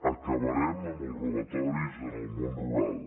acabarem amb els robatoris en el món rural